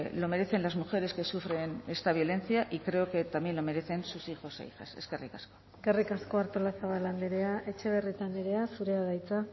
lo merecen las mujeres que sufren esta violencia y creo que también lo merecen sus hijos e hijas eskerrik asko eskerrik asko artolazabal andrea etxebarrieta andrea zurea da hitza